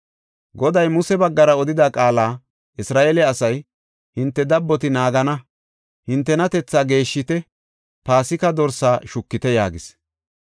Goday Muse baggara odida qaala Isra7eele asay, hinte dabboti naagana mela gigisite; hinteka hintenatethaa geeshshite Paasika dorsaa shukite” yaagis.